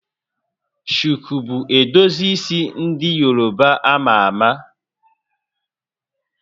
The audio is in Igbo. Shuku bụ edozi isi ndị Yoruba a ma ama